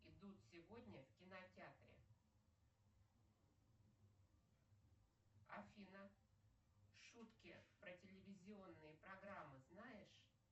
идут сегодня в кинотеатре афина шутки про телевизионные программы знаешь